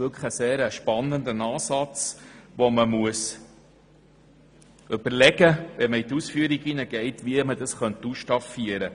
Das ist wirklich ein sehr spannender Ansatz, zu dem man sich überlegen müsste, wie man ihn bei der Ausführung ausstaffiert.